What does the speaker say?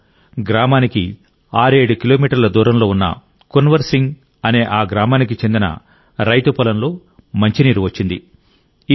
ఇంతలో గ్రామానికి 67 కిలోమీటర్ల దూరంలో ఉన్న కున్వర్ సింగ్ అనే ఆ గ్రామానికి చెందిన రైతు పొలంలో మంచినీరు వచ్చింది